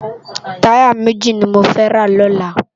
Tàyá méji ni mó fè rá lòlá